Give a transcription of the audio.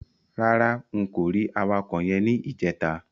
Rárá n kò rí awakọ̀ yẹn ní ìjẹta.